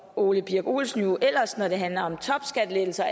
ole birk olesen jo ellers når det handler om topskattelettelser